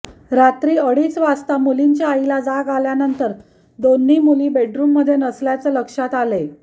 रात्री अडीच वाजता मुलींच्या आईला जाग आल्यानंतर दोन्ही मुली बेडरुममध्ये नसल्याचे लक्षात आले